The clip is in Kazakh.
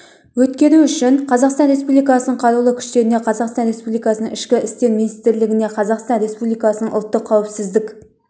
өткеру үшін қазақстан республикасының қарулы күштеріне қазақстан республикасының ішкі істер министрлігіне қазақстан республикасының ұлттық қауіпсіздік